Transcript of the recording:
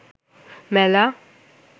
মেলা